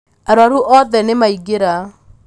arwaru othe nĩmaingĩra